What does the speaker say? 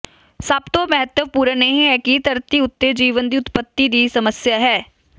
ਸਭ ਤੋਂ ਮਹੱਤਵਪੂਰਨ ਇਹ ਹੈ ਕਿ ਧਰਤੀ ਉੱਤੇ ਜੀਵਨ ਦੀ ਉਤਪਤੀ ਦੀ ਸਮੱਸਿਆ ਹੈ